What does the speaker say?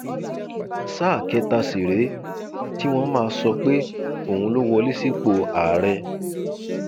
sáà kẹta sì rèé tí wọn máa sọ pé òun ló wọlé sípò àárẹ